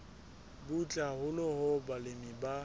butle haholo hoo balemi ba